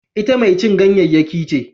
Ita mai cin ganyayyaki ce